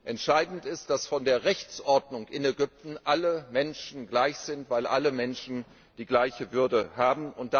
Entscheidend ist, dass vor der Rechtsordnung in Ägypten alle Menschen gleich sind, weil alle Menschen die gleiche Würde haben.